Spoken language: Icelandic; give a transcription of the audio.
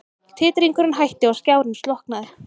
Titringurinn hætti og skjárinn slokknaði.